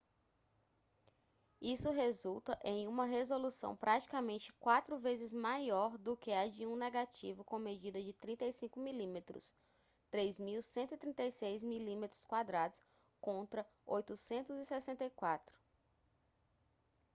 isso resulta em uma resolução praticamente quatro vezes maior do que a de um negativo com medida de 35 mm 3136 mm2 contra 864